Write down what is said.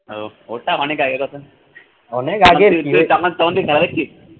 ওহ ওরটা অনেক আগের কথা, তখন তুই তখন তুই খেলা দেখতিস?